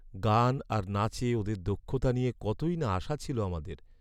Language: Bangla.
গান আর নাচে ওদের দক্ষতা নিয়ে কতই না আশা ছিল আমাদের।